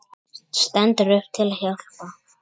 Stendur upp til að hjálpa.